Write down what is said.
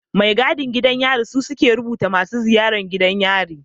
Mai gadin gidan yari su suke rubuta masu ziyaran gidan yari